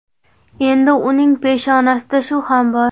Endi uning peshonasida shu ham bor.